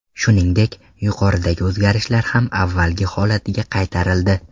Shuningdek, yuqoridagi o‘zgarishlar ham avvalgi holatiga qaytarildi.